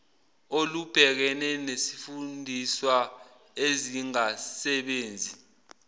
olubhekene nezifundiswa ezingasebenzi